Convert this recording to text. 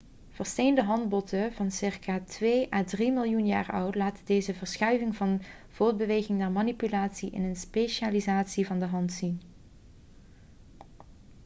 versteende handbotten van ca. twee à drie miljoen jaar oud laten deze verschuiving van voortbeweging naar manipulatie in de specialisatie van de hand zien